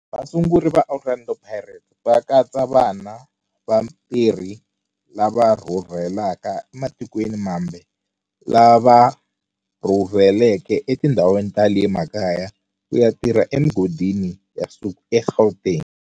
Vasunguri va Orlando Pirates va katsa vana va vatirhi lava rhurhelaka ematikweni mambe lava rhurheleke etindhawini ta le makaya ku ya tirha emigodini ya nsuku eGauteng.